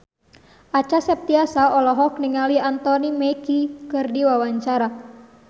Acha Septriasa olohok ningali Anthony Mackie keur diwawancara